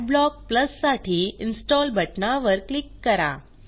Adblock Plusसाठी install बटनावर click करा